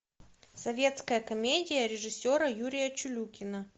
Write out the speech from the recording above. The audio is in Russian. советская комедия режиссера юрия чулюкина